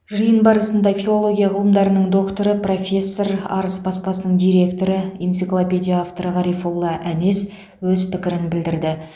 жиын барысында филология ғылымдарының докторы профессор арыс баспасының директоры энциклопедия авторы ғарифолла әнес өз пікірін білдірді